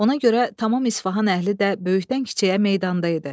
Ona görə tamam İsfahan əhli də böyükdən-kiçiyə meydanda idi.